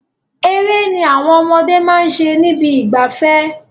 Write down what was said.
Eré ni àwọn ọmọdé máa ṣe nibi ìgbafẹ́.